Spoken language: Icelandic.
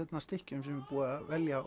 stykkjum sem er búið að velja